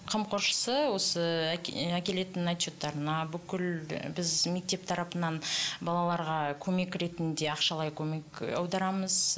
қамқоршысы осы әкелетін отчеттарына бүкіл біз мектеп тарапынан балаларға көмек ретінде ақшалай көмек аударамыз